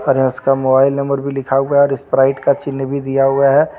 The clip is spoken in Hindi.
अरे उसका मोबाइल नंबर भी लिखा हुआ है और स्प्राइट का चिह्न भी दिया हुआ है.